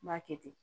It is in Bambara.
N b'a kɛ ten